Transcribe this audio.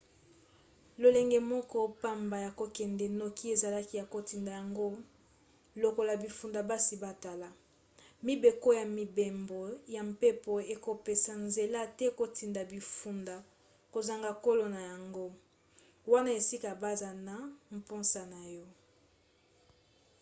lolenge moko pamba ya kokende noki ezalaki ya kotinda yango lokola bifunda basi batala. mibeko ya mibembo ya mpepo ekopesa nzela te kotinda bifunda kozanga kolo na yango wana esika baza na mposa na yo